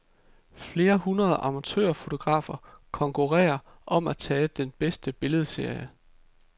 Flere hundrede amatørfotografer konkurrerer om at tage den bedste billedserie.